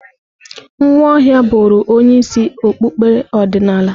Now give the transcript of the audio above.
Nwaohia bụrụ onye isi okpukpere ọdịnala.